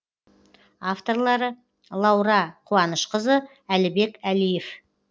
авторлары лаура қуанышқызы әлібек әлиев